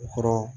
U kɔrɔ